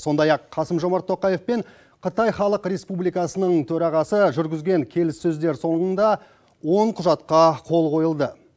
сондай ақ қасым жомарт тоқаев пен қытай халық республикасының төрағасы жүргізген келіссөздер соңында он құжатқа қол қойылды